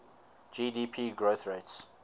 gdp growth rates